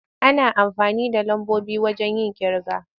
Ana amfani da lambobi wayen yin ƙirga.